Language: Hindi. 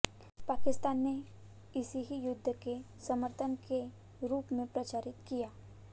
पाकिस्तान ने इसे ही युद्ध के समर्थन के रूप में प्रचारित किया